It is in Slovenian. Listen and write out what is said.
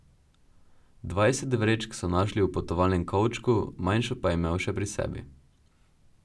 Dvajset vrečk so našli v potovalnem kovčku, manjšo pa je imel še pri sebi.